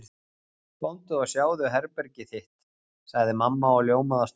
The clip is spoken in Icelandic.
Komdu og sjáðu herbergið þitt sagði mamma og ljómaði af stolti.